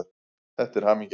Þetta er hamingjan.